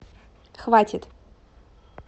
хватит